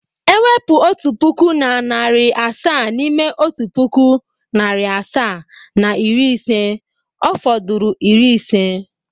E wepu otu puku na na narị asaa n’ime otu puku, narị asaa na iri ise, ọ fodụrụ iri ise.